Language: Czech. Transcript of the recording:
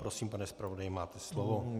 Prosím, pane zpravodaji, máte slovo.